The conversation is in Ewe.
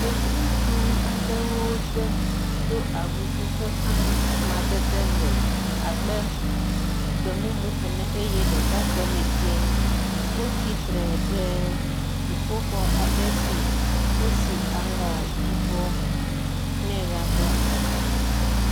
Yevu ŋutsu aɖewo de do awu si ƒe amadede le abe gbe mumu ene eye ɖeka tɔ le dzɛ̃e wotsitre ɖe dziƒoxɔ aɖe si wosiaŋɔ yibɔ nɛ la ƒe ŋgɔ.